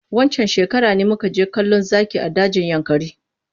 Waccan shekarar ne muka je kallon zaki a dajin yankari.